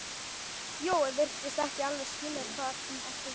Jói virtist ekki alveg skilja hvað hann átti við.